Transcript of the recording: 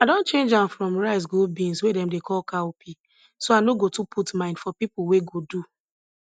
i don change am from rice go beans wey dem dey call cowpea so i no go too put mind for pipo wey go do